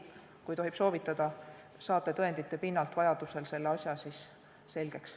Kui tohib soovitada: äkki saate tõendite pinnalt vajaduse korral selle asja selgeks.